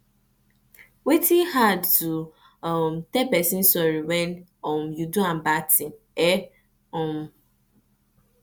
wetin hard to um tell person sorry when um you do am bad thing eh um